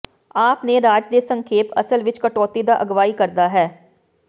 ਆਪ ਨੇ ਰਾਜ ਦੇ ਸੰਖੇਪ ਅਸਲ ਵਿੱਚ ਕਟੌਤੀ ਦਾ ਅਗਵਾਈ ਕਰਦਾ ਹੈ